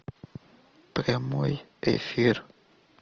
прямой эфир